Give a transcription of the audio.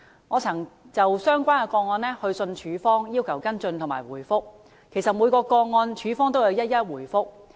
我曾就相關個案致函署方，要求跟進及回覆，署方就每宗個案一一回覆。